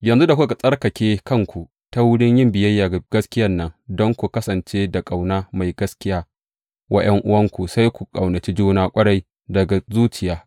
Yanzu da kuka tsarkake kanku ta wurin yin biyayya ga gaskiyan nan, don ku kasance da ƙauna mai gaskiya wa ’yan’uwanku, sai ku ƙaunaci juna ƙwarai, daga zuciya.